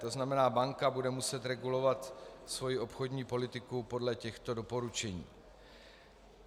To znamená, banka bude muset regulovat svoji obchodní politiku podle těchto doporučení.